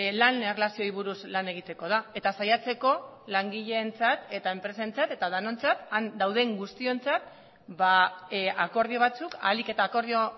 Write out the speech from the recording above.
lan erlazioei buruz lan egiteko da eta saiatzeko langileentzat eta enpresentzat eta denontzat han dauden guztiontzat akordio batzuk ahalik eta akordio